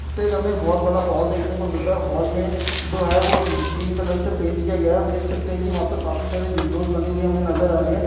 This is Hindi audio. देख हमें बोहोत बड़ा हॉल देखने को मिल रहा है। हॉल में जो है वो क्रीम कलर से पेंट किया गया है। हम देख सकते हैं कि वहाँ पे काफी सारी विंडोज़ बनी हुई हमें नजर आ रही हैं।